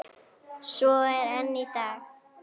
Svo er enn í dag.